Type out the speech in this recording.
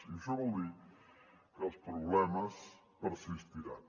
i això vol dir que els problemes persistiran